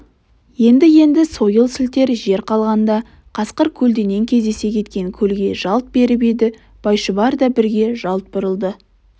енді-енді сойыл сілтер жер қалғанда қасқыр көлденең кездесе кеткен көлге жалт беріп еді байшұбар да бірге жалт бұрылды